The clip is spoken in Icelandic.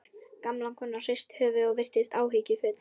Gamla konan hristi höfuðið og virtist áhyggjufull.